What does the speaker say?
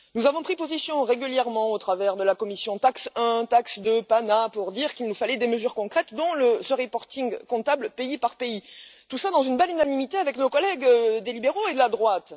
Nous avons pris position régulièrement, grâce aux travaux des commissions TAXE 1, TAXE 2 ou PANA, pour dire qu'il nous fallait des mesures concrètes, dont cette déclaration comptable pays par pays, et tout cela dans une belle unanimité avec nos collègues des libéraux et de la droite.